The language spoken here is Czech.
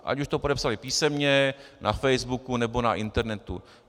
Ať už to podepsali písemně, na facebooku nebo na internetu.